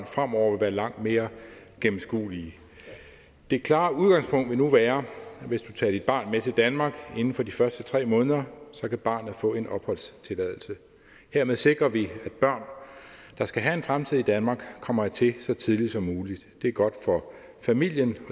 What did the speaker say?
fremover vil være langt mere gennemskuelige det klare udgangspunkt vil nu være at med til danmark inden for de første tre måneder så kan barnet få en opholdstilladelse hermed sikrer vi at børn der skal have en fremtid i danmark kommer hertil så tidligt som muligt det er godt for familien